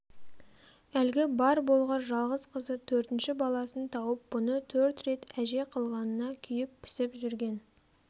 әлгі бар болғыр жалғыз қызы төртінші баласын тауып бұны төрт рет әже қылғанына күйіп-пісіп жүрген